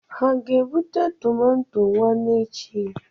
Ha ga-ebute tọmatọ nwanne echi?